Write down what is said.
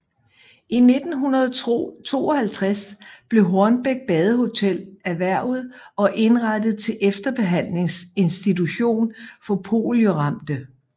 I 1952 blev Hornbæk Badehotel erhvervet og indrettet til efterbehandlingsinstitution for polioramte